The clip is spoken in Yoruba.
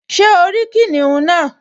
Ṣé o rí kìnìún náà?